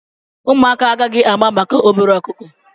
Ụmụaka agaghị ama maka obere ọkụkọ.